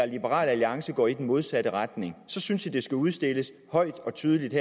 liberal alliance går i den modsatte retning så synes jeg det skal udstilles højt og tydeligt